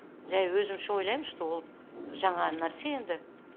жай өзімше ойлайм что ол жаңа нәрсе енді